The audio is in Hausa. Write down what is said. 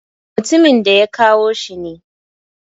Mutumin da ya kawo shi ne.